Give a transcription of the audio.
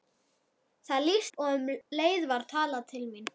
Það lýstist upp og um leið var talað til mín.